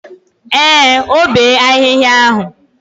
Ee, o bee ahịhịa.